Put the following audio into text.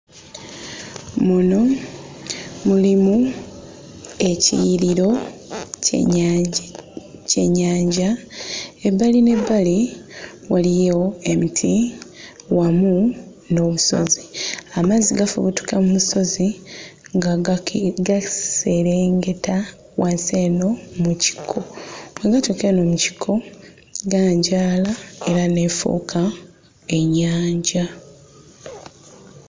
Muno mulimu ekiyiriro ky'ennyanja ky'ennyanja. Ebbali n'ebbali waliyo emiti wamu n'obusozi. Amazzi gafubuutuka mu nsozi nga gaki... gaserengeta wansi eno mu kikko. Bwe gatuuka eno mu kikko ganjaala era n'efuuka ennyanja.